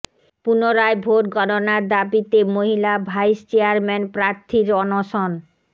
পুনরায় ভোট গণনার দাবিতে মহিলা ভাইস চেয়ারম্যান প্রার্থীর অনশন